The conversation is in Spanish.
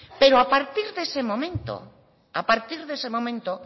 pero a partir de ese momento